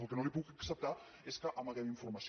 el que no li puc acceptar és que amaguem informació